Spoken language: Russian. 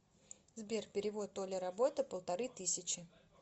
сбер перевод оля работа полторы тысячи